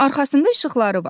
Arxasında işıqları var.